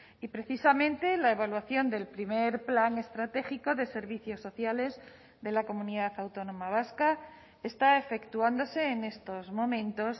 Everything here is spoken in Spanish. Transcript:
y precisamente la evaluación del primer plan estratégico de servicios sociales de la comunidad autónoma vasca está efectuándose en estos momentos